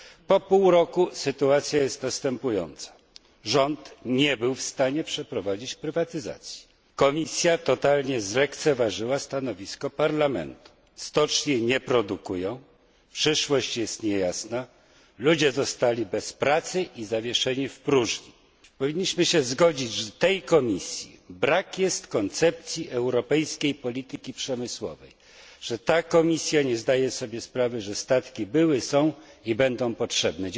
Po pół roku sytuacja jest następująca rząd nie był w stanie przeprowadzić prywatyzacji, Komisja totalnie zlekceważyła stanowisko Parlamentu, stocznie nie produkują, przyszłość jest niejasna, ludzie zostali bez pracy i zawieszeni w próżni. Powinniśmy się zgodzić, że tej Komisji brak jest koncepcji europejskiej polityki przemysłowej, że ta Komisja nie zdaje sobie sprawy, że statki były, są i będą potrzebne.